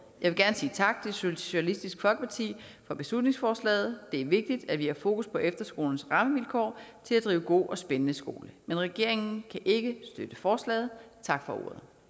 jeg vil gerne sige tak til socialistisk folkeparti for beslutningsforslaget det er vigtigt at vi har fokus på efterskolernes rammevilkår til at drive god og spændende skole men regeringen kan ikke støtte forslaget tak for